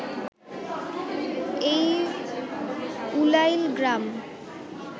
এই উলাইল গ্রাম